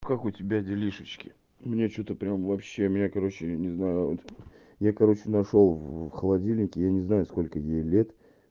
как у тебя делишечки у меня что-то прям вообще меня короче не знаю я короче нашёл в холодильнике я не знаю сколько ей лет